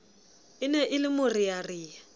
e ne e le morearea